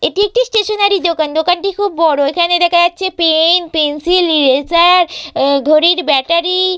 এটি একটি স্টেশনারি দোকান দোকানটি খুব বড় এখানে দেখা যাচ্ছে পেন পেন্সিল ইরেজার ঘড়ির ব্যাটারি --